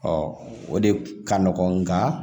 o de ka nɔgɔn nga